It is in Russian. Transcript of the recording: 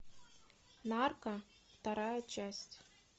нарко вторая часть